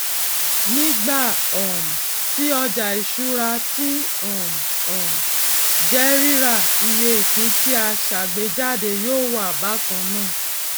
nígbà um tí ọjà ìṣúra tí um um jẹ rírà iye ìpín tí a sàgbéjáde yóò wà bákan náà